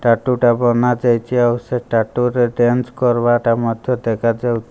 ଟାଟୁଟା ବନା ଯାଇଚି ଆଉ ସେ ଟାଟୁର ଡେନ୍ସ କରବାଟା ମଧ୍ଯ ଦେଖାଯାଉ --